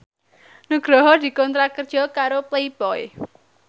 Nugroho dikontrak kerja karo Playboy